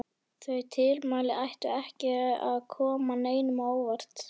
Þau tilmæli ættu ekki að koma neinum á óvart.